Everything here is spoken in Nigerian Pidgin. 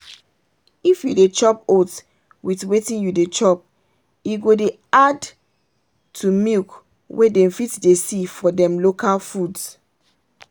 if you dey chop oats with wetin you dey chop e go dey add to milk wey them fit dey see for them local foods.